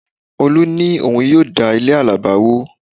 Olú ní òun yóò da ilé àlàbá wó